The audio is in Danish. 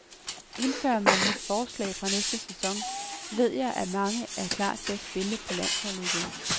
Indfører man mit forslag fra næste sæson, ved jeg, at mange er klar til at spille på landsholdet igen.